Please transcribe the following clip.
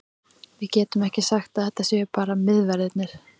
Við getum ekki sagt að þetta séu bara miðverðirnir.